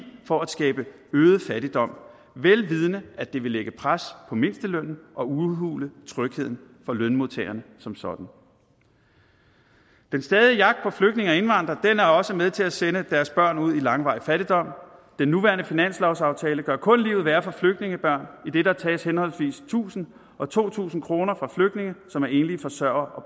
for at skabe øget fattigdom vel vidende at det vil lægge pres på mindstelønnen og udhule trygheden for lønmodtagerne som sådan den stadige jagt på flygtninge og indvandrere er også med til at sende deres børn ud i langvarig fattigdom den nuværende finanslovsaftale gør kun livet værre for flygtningebørn idet der tages henholdsvis tusind og to tusind kroner fra flygtninge som er enlige forsørgere og